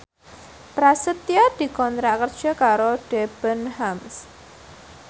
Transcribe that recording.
Prasetyo dikontrak kerja karo Debenhams